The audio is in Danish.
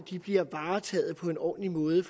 de bliver varetaget på en ordentlig måde i